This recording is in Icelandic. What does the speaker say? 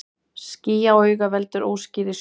Ský á auga veldur óskýrri sjón.